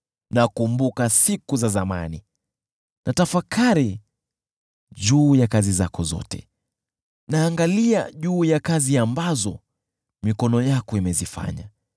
Nakumbuka siku za zamani; natafakari juu ya kazi zako zote, naangalia juu ya kazi ambazo mikono yako imezifanya.